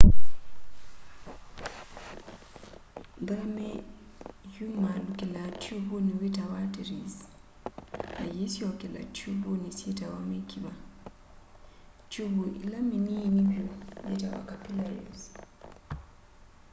nthakame yumaalukilaa tiuvuni witawa arteries na yîisyokela tiuvuni syitawa mikiva. tiuvu ila miniini vyu yitawa capillaries